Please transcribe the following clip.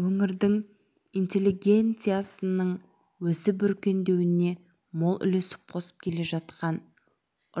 өңірдің интелегенциясының өсіп өркендеуіне мол үлес қосып келе жатқан